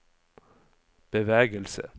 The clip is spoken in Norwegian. bevegelse